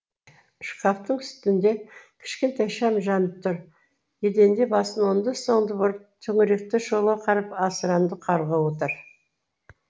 шкафтың үстінде кішкентай шам жанып тұр еденде басын онды солды бұрып төңіректі шола қарап асыранды қарға отыр